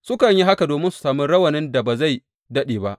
Sukan yi haka domin su sami rawanin da ba zai daɗe ba.